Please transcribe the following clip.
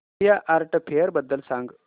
India art fair बद्दल सांग